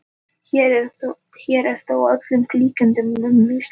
Hér er þó að öllum líkindum um misskilning að ræða.